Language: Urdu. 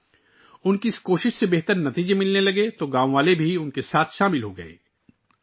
جب ان کی کوششوں کے بہتر نتائج آنے لگے تو گاؤں والے بھی ان کا ساتھ دینے لگے